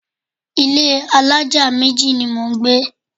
Ilé alájà méjì ni mò ń gbé.